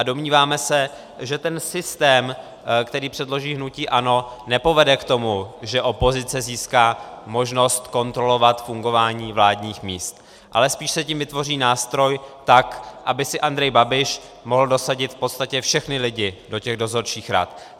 A domníváme se, že ten systém, který předloží hnutí ANO, nepovede k tomu, že opozice získá možnost kontrolovat fungování vládních míst, ale spíš se tím vytvoří nástroj tak, aby si Andrej Babiš mohl dosadit v podstatě všechny lidi do těch dozorčích rad.